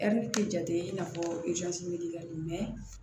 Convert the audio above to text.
tɛ jate i n'a fɔ